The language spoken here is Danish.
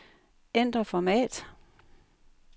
Ændr format.